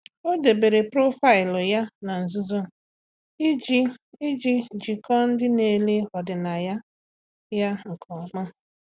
Ọ́ dèbèrè profaịlụ ya na nzuzo iji iji jíkọ́ọ́ ndị nà-èlé ọ́dị́nàya ya nke ọma.